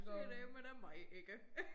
Det dæleme da mig ikke